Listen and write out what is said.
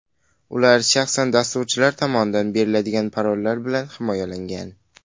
Ular shaxsan dasturchilar tomondan beriladigan parollar bilan himoyalangan.